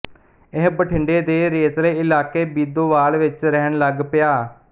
ਇਹ ਬਠਿੰਡੇ ਦੇ ਰੇਤਲੇ ਇਲਾਕੇ ਬੀਦੋਵਾਲ ਵਿੱਚ ਰਹਿਣ ਲੱਗ ਪਿਆ